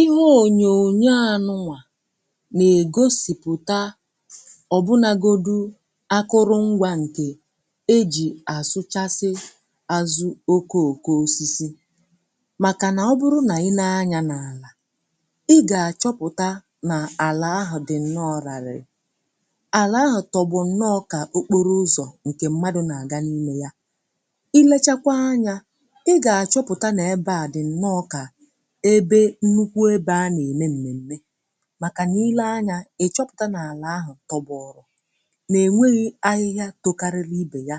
ihe ònyònyo ànụ nwà nà-ègosìpụ̀ta ọ̀ bụnagodù akụrụ ngwȧ um ǹkè e jì àsụchasị azụ oke òkò osisi màkà nà ọ bụrụ nà i nee anyȧ n’àlà ị gà-àchọpụ̀ta nà àlà ahụ̀ dị nne um ọ̀ rari àlà ahụ̀ tọ̀gbò nne ọka òkporo ụzọ̀ ǹkè mmadụ̇ nà-àga n’ime ya i lechakwa anyȧ ị gà-àchọpụ̀ta nà ebe à dị nne ọkà ebe nnukwu ebe a na-eme nne niile um anya ị chọpụta n’alà ahụ̀ tọbọ ọrụ̀ na-enweghị̀ ahịhịà tokariri ibè ya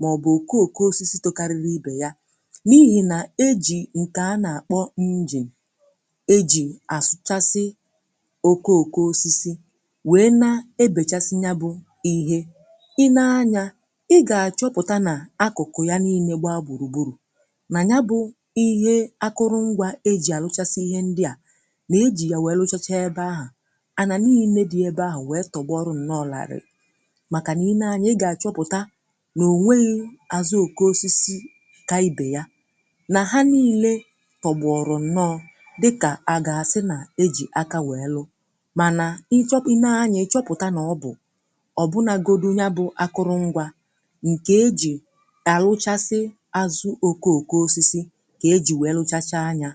maọbụ̀ okooko osisi tokariri ibè ya n’ihi na e ji nke a na-akpọ injin um e ji asụchasị okooko osisi wee na-ebèchasị ya bụ̀ ihe i nee anya ị ga-achọpụta na akụkụ ya n’ine gbaa gburugburu um nà-ejì ya wèe lụchachaa ebe ahụ̀ a nà n’ihi ne dị̀ ebe ahụ̀ wèe tọ̀gba ọrụ̇ ǹnọọ̇là àrị̀rị̀ màkà niine anyȧ ị gà-àchọpụ̀ta nà ò nweghi̇ azụ oke osisi ǹkè ibè ya nà ha niile tọ̀gbọ̀rọ̀ ǹnọọ̇ dịkà à ga-asị nà ejì aka wèe lụ mànà ị chọpụ̀ niine anya ị chọpụ̀ta nà ọ bụ̀ um ọ̀ bụnàgodu nya bụ̇ akụrụngwȧ ǹkè ejì àrụchasị azụ̇ oke òkò osisi kà e jì wèe lụchacha anyȧ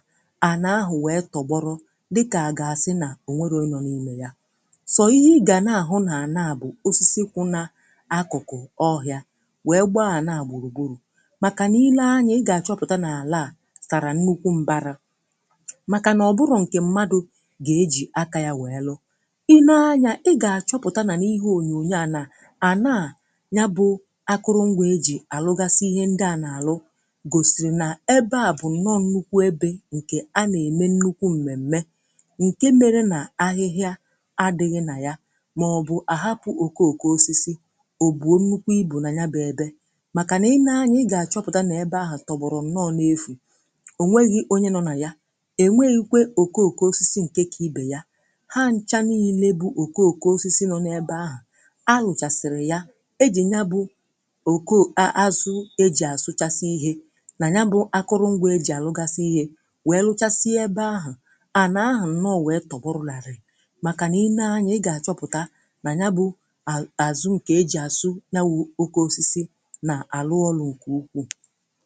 dịkà agasị nà ònwèrò ịnọ n’imè yà sọ ihe ị gà na-àhụ nà ànaà bụ̀ osisikwụ̇ um na akụ̀kụ̀ ọhị̇ȧ wee gbaa ànaà gbùrùgbùrù màkà nà ilee anyȧ ị gà-àchọpụ̀ta n’àlà à sàrà nnukwu mbara màkà nà ọ bụrọ̀ nke mmadụ̇ gà-ejì aka yȧ wee lụ i nee anyȧ ị gà-àchọpụ̀ta nà n’ihe ònyònyo à nà ànaà ya bụ̇ akụrụngwȧ ejì àlụgasị ihe ndị à nà àlụ ǹke mere nà ahịhịa adị̇ghị̇ nà ya màọ̀bụ̀ àhapụ̀ òkò òkò osisi òkò nnukwu ibù nà nya bụ̇ ebe um màkànà i nee anya ị gà àchọpụ̀ta nà ebe ahụ̀ tọ̀gbọ̀rọ̀ nọọ n’efù ò nweghi onye nọ nà ya è nweghi kwė òkò òkò osisi nke kà ibè ya ha nchȧniyi nà-ebu òkò òkò osisi nọ̇ n’ebe ahụ̀ a hụ̀chàsìrì ya ejì nya bụ̇ òkò azụ̇ ejì àsụchasị ihė nà ya bụ̇ akụrụ̇ngwȧ ejì àlụgasị ihė màkànà i nee anyȧ ị gà-àchọpụ̀ta nà ya bụ̇ àzụ ǹkè ejì asụ nya wụ̇ oke osisi nà-àlụ ọlụ ǹkè ukwuù